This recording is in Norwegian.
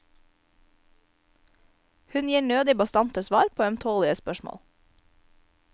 Hun gir nødig bastante svar på ømtålige spørsmål.